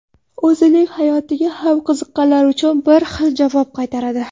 O‘zining hayotiga ham qiziqqanlar uchun bir xil javob qaytaradi.